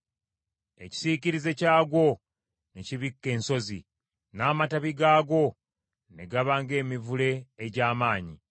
Ekisiikirize kyagwo ne kibikka ensozi, n’amatabi gaagwo ne gaba ng’emivule egy’amaanyi.